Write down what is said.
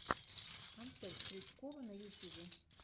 концерт крючкова на ютюбе